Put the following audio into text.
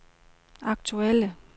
aktuelle